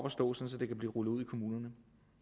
at stå sådan at det kan blive rullet ud i kommunerne